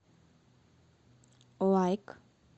лайк